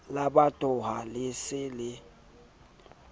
la botahwa le se le